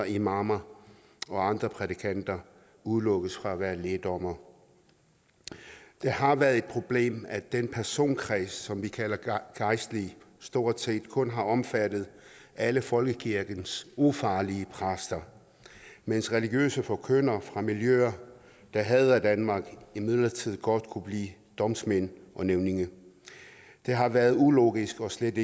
imamer og andre prædikanter udelukkes fra at være lægdommere det har været et problem at den personkreds som vi kalder gejstlige stort set kun har omfattet alle folkekirkens ufarlige præster mens religiøse forkyndere fra miljøer der hader danmark imidlertid godt kunne blive domsmænd og nævninge det har været ulogisk og slet